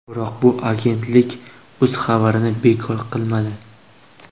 Biroq bu agentlik o‘z xabarini bekor qilmadi.